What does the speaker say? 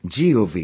gov